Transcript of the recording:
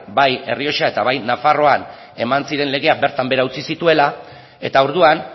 bai errioxa eta bai nafarroan eman ziren legea bertan behera utzi zituela eta orduan